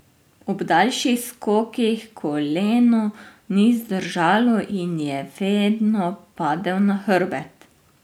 Ob daljših skokih, koleno ni zdržalo in je vedno padel na hrbet.